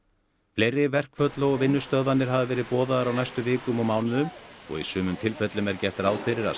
fleiri verkföll og vinnustöðvanir hafa verið boðaðar á næstu vikum og mánuðum og í sumum tilfellum er gert ráð fyrir að